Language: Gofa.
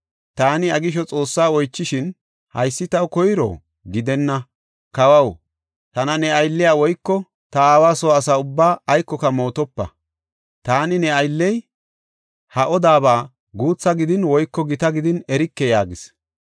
Taani iya gisho Xoossaa oychishin, haysi taw koyro? Gidenna, kawaw, tana ne aylliya woyko ta aawa soo asa ubbaa aykoka mootopa. Taani ne aylley ha odabaa guutha gidin woyko gita gidin erike” yaagis.